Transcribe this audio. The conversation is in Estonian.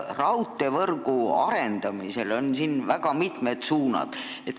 Raudteevõrgu arendamisel on tegu väga mitme suunaga.